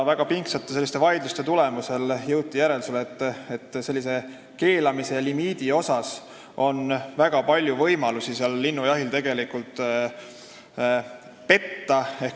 Väga pingsate vaidluste tulemusel jõuti järeldusele, et hoolimata keelamisest ja limiidist on tegelikult väga palju võimalusi linnujahil petta.